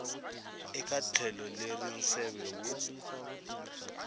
eka tlhelo leri nseve wu